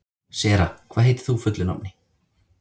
Sera, hvað heitir þú fullu nafni?